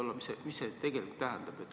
Mida see tegelikult tähendab?